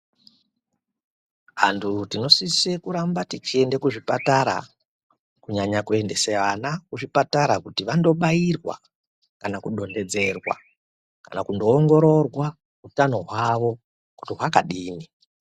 Antu tinosise kuramba tichiende kuzvipatara kunyanya kuendese ana kuzvipatara kuti vandobairwa kana kudonhedzerwa kana kundoongororwa utano hwavo kuti hwakadini.